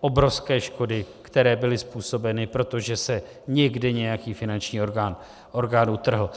obrovské škody, které byly způsobeny, protože se někde nějaký finanční orgán utrhl.